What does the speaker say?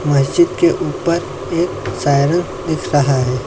मस्जिद के ऊपर एक सायरन दिख रहा है।